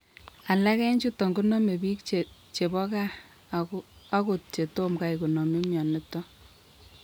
Alak en chuton konome biik chebo kaa akot chetomgai konome myonitok